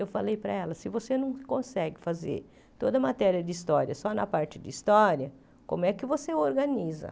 Eu falei para ela, se você não consegue fazer toda a matéria de história só na parte de história, como é que você organiza?